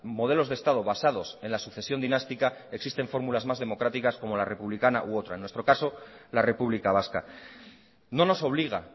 modelos de estado basados en la sucesión dinástica existen fórmulas más democráticas como la republicana u otra en nuestro caso la república vasca no nos obliga